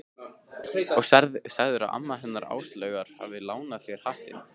Og sagðirðu að amma hennar Áslaugar hafi lánað þér hattinn?